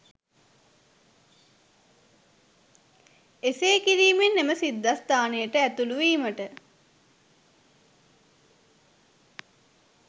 එසේ කිරීමෙන් එම සිද්ධස්ථානයට ඇතුළුවීමට